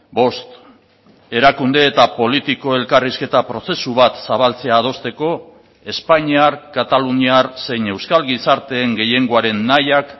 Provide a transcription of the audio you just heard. bost erakunde eta politiko elkarrizketa prozesu bat zabaltzea adosteko espainiar kataluniar zein euskal gizarteen gehiengoaren nahiak